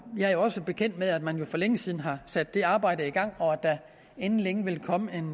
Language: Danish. er jo også bekendt med at man for længe siden har sat det arbejde i gang og at der inden længe vil komme en